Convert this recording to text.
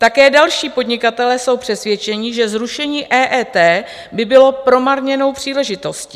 Také další podnikatelé jsou přesvědčeni, že zrušení EET by bylo promarněnou příležitostí.